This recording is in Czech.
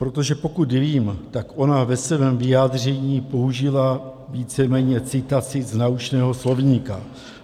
Protože pokud vím, tak ona ve svém vyjádření použila víceméně citaci z naučného slovníku.